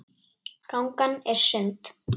Gangan er sund.